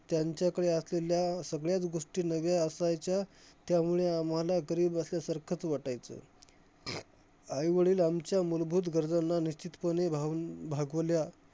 त्यांच्याकडे असलेल्या सगळ्याचं गोष्टी नव्या असायच्या, त्यामुळे आम्हाला गरीब असल्यासारखचं वाटायचं. आईवडील आमच्या मुलभूत गरजांना निश्चितपणे भावून भागवल्या